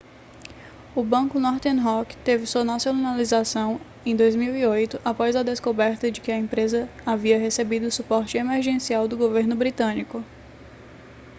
o banco northern rock teve sua nacionalização em 2008 após a descoberta de que a empresa havia recebido suporte emergencial do governo britânico